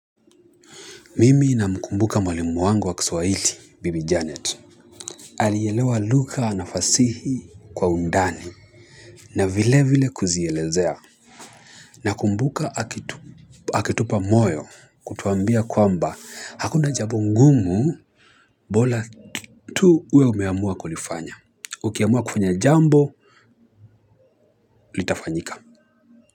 Mimi na mkumbuka mwalimu wangu wa Kiswahili, bibi janet. Alielewa lugha na fasihi kwa undani. Na vile vile kuzielezea. Na kumbuka akitupa moyo kutuambia kwamba hakuna jambo ngumu bora tu uwe umeamua kulifanya. Ukiamua kufanya jambo, litafanyika.